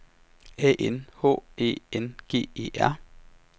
A N H Æ N G E R